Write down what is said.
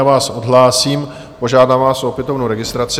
Já vás odhlásím, požádám vás o opětovnou registraci.